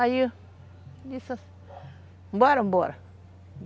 Aí disse assim, bora, bora.